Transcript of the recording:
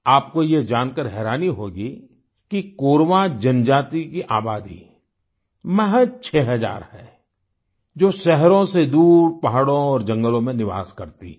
आपको यह जानकार हैरानी होगी कि कोरवा जनजाति की आबादी महज़ 6000 है जो शहरों से दूर पहाड़ों और जंगलों में निवास करती है